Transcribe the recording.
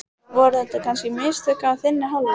Voru þetta kannski mistök af þinni hálfu?